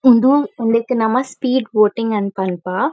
ಉಂದು ಉಂದೆಕ್ ನಮ ಸ್ಪೀಡ್ ಬೋಟಿಂಗ್ ಅಂದ್ ಪನ್ಪ.